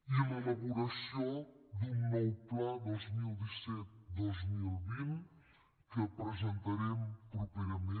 i l’elaboració d’un nou pla dos mil disset dos mil vint que presentarem properament